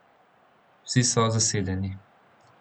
Vsi so zasedeni.